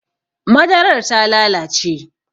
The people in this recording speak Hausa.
Madarar ta lalace